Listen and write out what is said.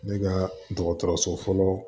Ne ka dɔgɔtɔrɔso fɔlɔ